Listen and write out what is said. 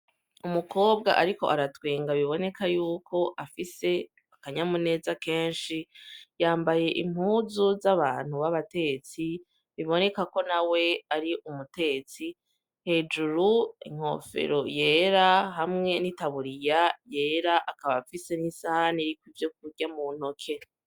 Umukobwa ariko aratwenga biboneka yuko afise akanyamuneza kenshi yambaye impuzu z'abantu babatetsi biboneka ko nawe ari umutetsi, hejuru inkofero yera hamwe n'itaburiya yera akaba afise n'isahane iriko ivyo kurya mu ntoki.